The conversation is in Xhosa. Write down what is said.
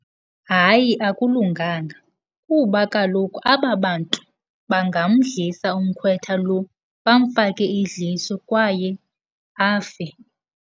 Hayi akulunganga kuba kaloku aba bantu bangamdlisa umkhwetha lo, bamfake idliso kwaye afe.